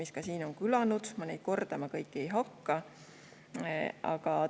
See on siin kõlanud, ma neid kordama ei hakka.